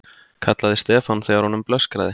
kallaði Stefán þegar honum blöskraði.